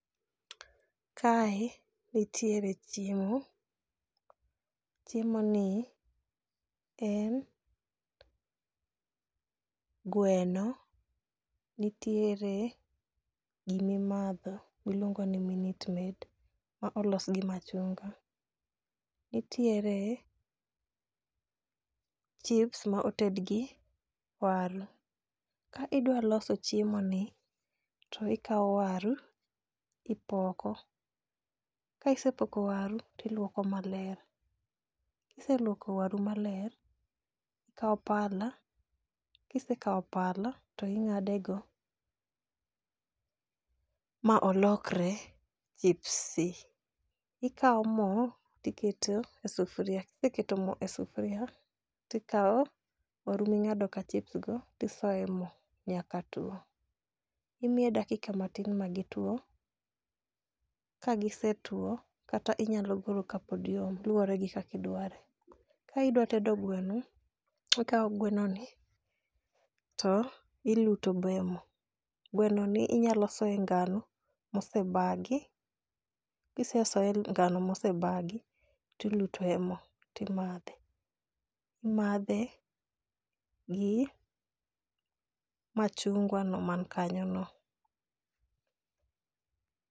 Kae nitiere chiemo, chiemoni en gweno nitiere gima imadho miluongo ni minute maid molos gi machunga. Nitiere chips ma oted gi waru. Ka idwa loso ciemoni to ikawo waru to ipoko. Ka ise kawo waru to iluoko. Ka iseluoko waru maler to ikawo pala , ka isekawo pala to ing'ade go ma olokre chips. To ikawo mo toiketo e sufuria ka iseketo mo e sufuria to ikawo waru ma ing'adoka chips no isoye emo nyaka tuo. Imiye dakika matin nyaka gitwo ka gisetwokata inyalo golo kapod yom, luwore gi kaka idware. Ka idwa tedo gweno, to ikawo gweno ni to iluto be emo. Gwenoni inyalo soyo e ngano mosebagi, ka ise soye e ngano mose bagi, to ilute e mo, to imadhe, imadhe gi machungwa no man kanyono.